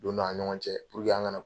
Donna an ni ɲɔgɔn cɛ an ka